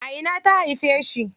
A ina ta haife shi?